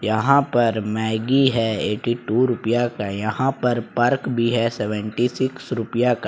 यहां पर मैगी है एट्टीटू रुपया का यहां पर पर्क भी है सेवंटीसिक्स रुपया का।